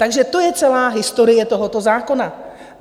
Takže to je celá historie tohoto zákona.